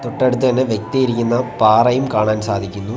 തൊട്ടടുത്ത് തന്നെ വ്യക്തിയിരിക്കുന്ന പാറയും കാണാൻ സാധിക്കുന്നു.